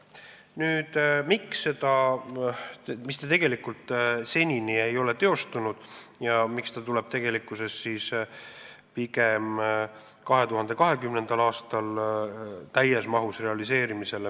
Nüüd, miks see ei ole senini teostunud ja miks see tuleb täies mahus realiseerimisele pigem 2020. aastal?